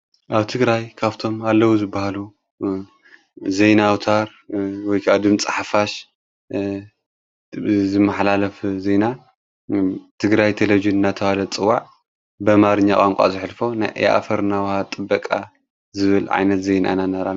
ኣብ ትግራይ ካብቶም ኣለዉ ዝበሃሉ ዜና ኣውታር ወይ ድምጽ ሓፋሽ ዝመሓላለፍ ዜና ትግራይ ቴሌብዥን እናተብሃለ ጥዋዕ ብኣማርኛ ቛንቋ ዘኅልፎ የኣፈርናዉሃ ጥበቓ ዝብል ዓይነት ዜና ነርከብ።